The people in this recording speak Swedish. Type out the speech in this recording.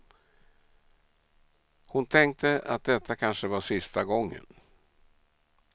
Hon tänkte att detta kanske var sista gången.